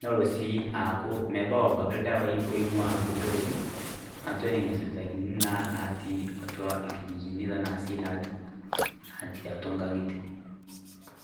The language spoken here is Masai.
nelo si metaa mebau ldawai oingua atua ina sipitali, naatii atua irkijijini latii atua nkangitie.